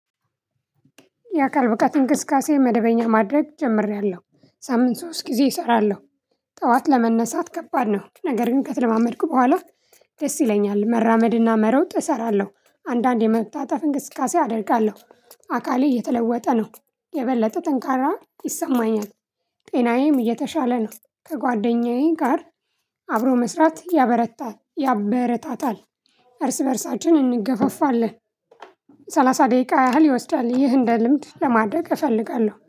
የአካል ብቃት እንቅስቃሴ መደበኛ ማድረግ ጀምሬያለሁ በሳምንት ሶስት ጊዜ እሰራለሁ። ጠዋት ለመነሳት ከባድ ነው ነገር ግን ከተለማመድኩ በኋላ። ደስ ይለኛል መራመድና መሮጥ እሰራለሁ አንዳንዴ መታጠፍ እንቅስቃሴ አደርጋለሁ አካሌ እየተለወጠ ነው የበለጠ ጠንካራ ይሰማኛል። ጤናዬም እየተሻለ ነው። ከጓደኛዬ ጋር አብሮ መስራት ያበረታታል። እርስ በእርሳችን እንገፋፋለን። ሰላሳ ደቂቃ ያህል ይወስዳል ይህ እንደ ልምድ ለማድረግ እፈልጋለሁ